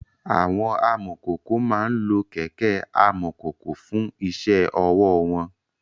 Àwọn amọ̀kòkò máa ń lo kẹ̀kẹ́ amọ̀kòkò fún iṣẹ́ ọwọ́ wọn.